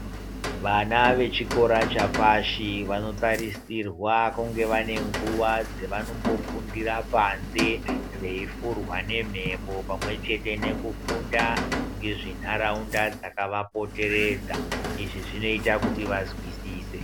Vana vechikora chapashi vanotarisirwa kunge vane nguva dzavanombofundira panze veifurwa nemhepo pamwechete nekufunda ngezvenharaunda dzakavapoteredza. Izvi zvinoita kuti vazwisise.